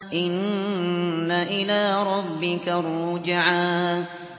إِنَّ إِلَىٰ رَبِّكَ الرُّجْعَىٰ